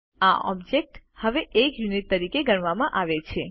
આ ઓબ્જેક્ત્સ હવે એક યુનિટ તરીકે ગણવામાં આવે છે